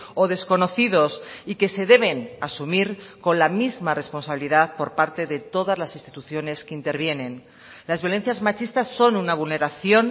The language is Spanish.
o desconocidos y que se deben asumir con la misma responsabilidad por parte de todas las instituciones que intervienen las violencias machistas son una vulneración